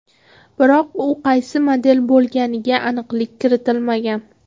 Biroq u qaysi model bo‘lganiga aniqlik kiritilmagan.